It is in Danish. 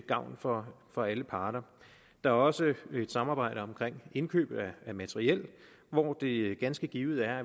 gavn for for alle parter der er også et samarbejde omkring indkøb af materiel hvor det ganske givet er